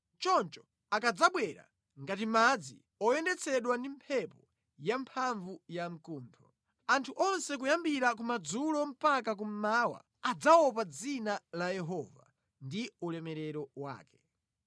Choncho akadzabwera ngati madzi oyendetsedwa ndi mphepo yamphamvu yamkuntho. Anthu onse kuyambira kumadzulo mpaka kummawa adzaopa dzina la Yehova ndi ulemerero wake.